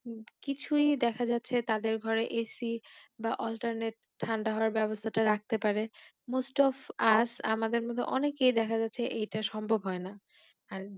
কিছুই দেখা যাচ্ছে তাদের ঘরে AC বা Alternet ঠাণ্ডা হবার ব্যবস্থা রাখতে পারে Most of us আমাদের মধ্যে অনেকেই দেখা যাচ্ছে এটা সম্ভব হয় না আর